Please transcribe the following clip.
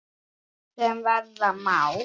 sem verða má.